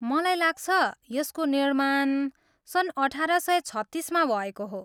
मलाई लाग्छ, यसको निर्माण सन् अठाह्र सय छत्तिसमा भएको हो।